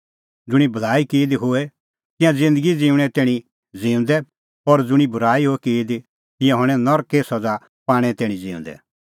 ज़ुंणी भलाई की दी होए तिंयां ज़िन्दगी ज़िऊंणें तैणीं ज़िऊंदै और ज़ुंणी बूराई होए की दी तिंयां हणैं नरके सज़ा पाणें तैणीं ज़िऊंदै